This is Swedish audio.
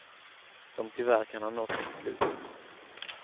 Som tyvärr kan ha nått sitt slut.